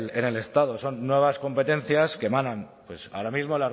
en el estado son nuevas competencias que emanan ahora mismo